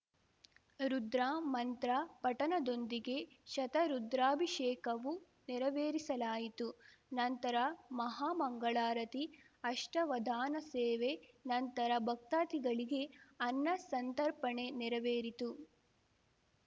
ರುದ್ರ ಮಂತ್ರ ಪಠಣದೊಂದಿಗೆ ಶತರುದ್ರಾಭಿಷೇಕವು ನೆರವೇರಿಸಲಾಯಿತು ನಂತರ ಮಹಾ ಮಂಗಳಾರತಿ ಅಷ್ಠಾವಧಾನ ಸೇವೆ ನಂತರ ಭಕ್ತಾದಿಗಳಿಗೆ ಅನ್ನಸಂತರ್ಪಣೆ ನೆರವೇರಿತು